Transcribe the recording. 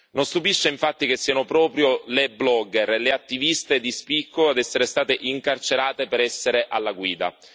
Non stupisce infatti che siano proprio le blogger e le attiviste di spicco ad essere state incarcerate per essere alla guida.